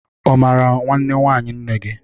Ọ mara nwanne nwaanyị nne gị?